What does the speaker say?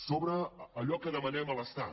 sobre allò que demanem a l’estat